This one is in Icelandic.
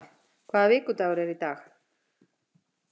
Óda, hvaða vikudagur er í dag?